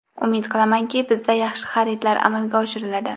Umid qilamanki, bizda yaxshi xaridlar amalga oshiriladi.